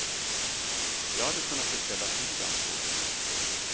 Jag hade kunnat beställa tid, ansåg de.